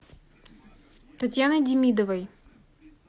татьяны демидовой